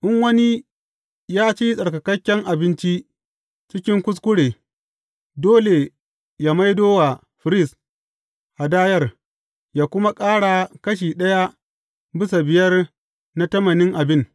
In wani ya ci tsarkakakken abinci cikin kuskure, dole yă maido wa firist hadayar, yă kuma ƙara kashi ɗaya bisa biyar na tamanin abin.